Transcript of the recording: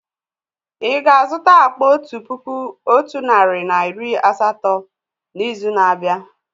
Ì ga-azụta akpa otu puku otu narị na iri asatọ n'izu na-abịa?